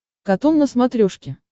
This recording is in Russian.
катун на смотрешке